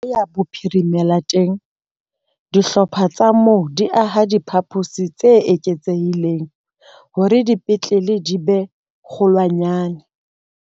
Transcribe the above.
Leboya Bophirimela teng, dihlopha tsa moo di aha diphaposi tse eketsehileng hore dipetlele di be kgolwanyane.